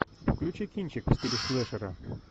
включи кинчик в стиле слэшера